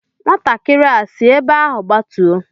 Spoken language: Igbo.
Nwatakịrị a sị ebe ahụ gbatuo!